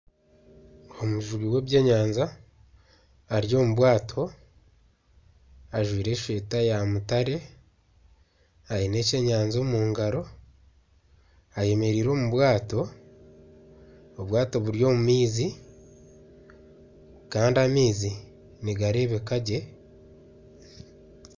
Omujubi w'ebyenyanja ari omu bwato ajwaire esweeta ya mutare aine kyenyanja omu ngaro ayemereire omu bwato, obwato buri omu maizi kandi amaizi nigareebeka gye.